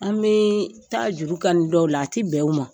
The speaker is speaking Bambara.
An bɛ taa juru kani dɔw la, a tɛ bɛn u ma.